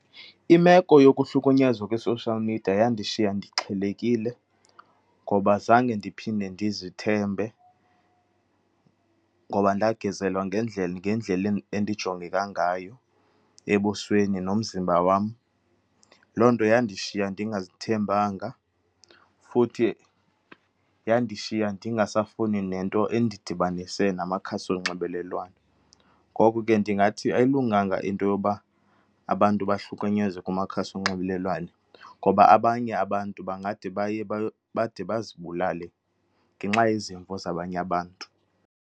Imeko yokuhlunyezwa kwi-social media yandishiya ndixhelekile ngoba zange ndiphinde ndizithembe, ngoba ndagezelwa ngendlela, ngendlela endijongeka ngayo ebusweni, nomzimba wam. Loo nto yandishiya ndingazithembanga, futhi yandishiya ndingasafuni nento endidibanise namakhasi onxibelelwano. Ngoku ke ndingathi ayilunganga into yoba abantu bahlukunyezwe kumakhasi onxibelelwane, ngoba abanye abantu bangade baye bade bazibulale ngenxa yezimvo zabanye abantu.